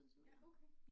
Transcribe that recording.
Ja okay